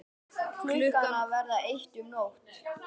Klukkan að verða eitt um nótt!